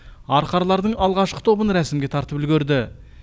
арқарлардың алғашқы тобын рәсімге тартып үлгерді